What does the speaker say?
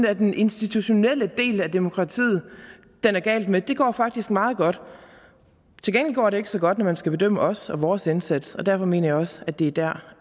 er den institutionelle del af demokratiet den er gal med for det går faktisk meget godt til gengæld går det ikke så godt når man skal bedømme os og vores indsats og derfor mener jeg også at det er der